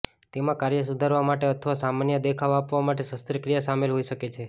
તેમાં કાર્ય સુધારવા માટે અથવા સામાન્ય દેખાવ આપવા માટે શસ્ત્રક્રિયા શામેલ હોઈ શકે છે